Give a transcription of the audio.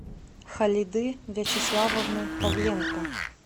халиды вячеславовны павленко